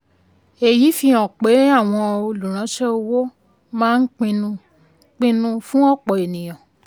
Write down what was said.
èyí fi hàn pé àwọn olùránṣẹ́ owó máa ń pín un pín un fún òpò ènìyàn.